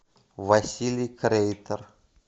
василий крейтер